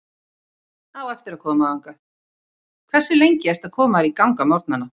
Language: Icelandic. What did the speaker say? Á eftir að koma þangað Hversu lengi ertu að koma þér í gang á morgnanna?